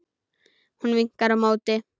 Hún vinkar á móti.